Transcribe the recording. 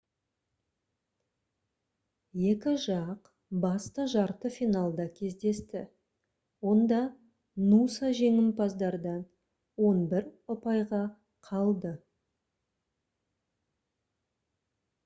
екі жақ басты жарты финалда кездесті онда нуса жеңімпаздардан 11 ұпайға қалды